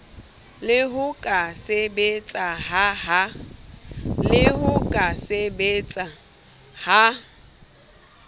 le ho ka sebetseha ha